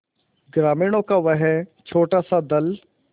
ग्रामीणों का वह छोटासा दल